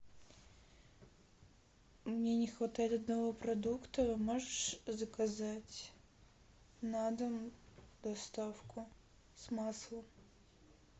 мне не хватает одного продукта можешь заказать на дом доставку с маслом